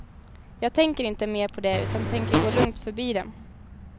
Jag tänker inte mer på det utan tänker gå lugnt förbi dem.